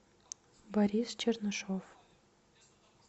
борис чернышов